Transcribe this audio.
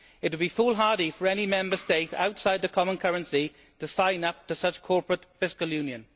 It would be foolhardy for any Member State outside the common currency to sign up to such corporate fiscal union.